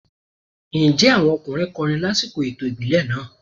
Ǹjẹ́ àwọn ọkùnrin kọrin lásìkò ètò ìbílẹ̀ náà?